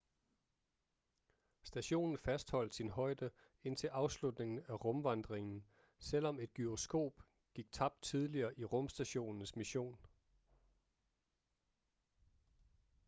stationen fastholdt sin højde indtil afslutningen af rumvandringen selvom et gyroskop gik tabt tidligere i rumstationens mission